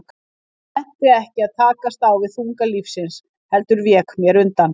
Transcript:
Ég nennti ekki að takast á við þunga lífsins, heldur vék mér undan.